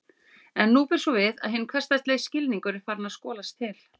En nú ber svo við að hinn hversdagslegi skilningur er farinn að skolast til.